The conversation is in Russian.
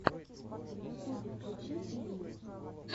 в ютюбе включи фильмы